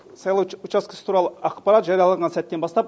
сайлау учаскесі туралы ақпарат жарияланған сәттен бастап